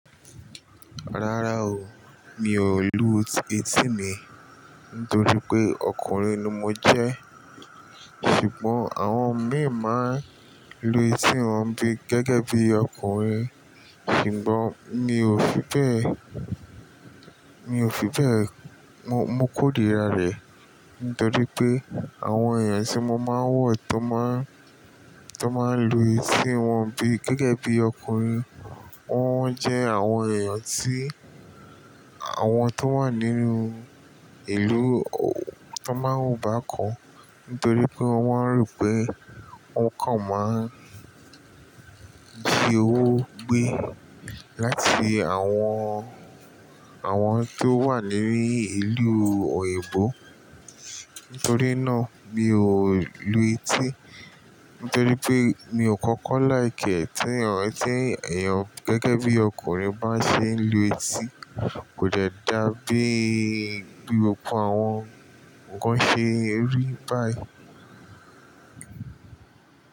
Rárá o, mi ò lu etí mi nítorí pé ọkùnrin ni mo jẹ́. Ṣùgbọ́n àwọn obìnrin máa ń lu etí wọn bí gẹ́gẹ́ bí ọkùnrin, ṣùgbọ́n mi ò fi bẹ́ẹ̀, mi ò fi bẹ́ẹ̀. Mo kórìíra rẹ̀ nítorí pé àwọn èèyàn tí mo máa ń wo ti o máa ń lu etí wọn gẹ́gẹ́ bí ọkùnrin, wọ́n jẹ́ àwọn èèyàn tí àwọn tó wà nínú ìlú tó máa ń wo bákan nítorí pé wọ́n rò pé wọ́n kàn máa ń di owó gbé láti àwọn, àwọn tó wà nínú ìlú òyìnbó. Nítorí náà mi ò lu etí nítorí pé mi ò kọ́kọ́ like ẹ́ ti ẹ̀yàn. Ti ẹ̀yàn gẹ́gẹ́ bí ọkùnrin bá ṣe ń lu etí kò de dá bí, bí gbogbo àwọn nǹkan ṣe rí báyìí.